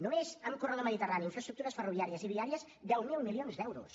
només en corredor mediterrani infraestructures ferroviàries i viàries deu mil milions d’euros